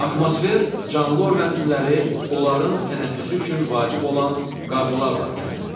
Atmosfer canlı orqanizmləri onların tənəffüsü üçün vacib olan qazlarla təmin edir.